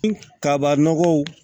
Kaba nɔgɔw